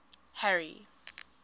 harry